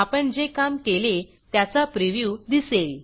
आपण जे काम केले त्याचा प्रिव्ह्यू दिसेल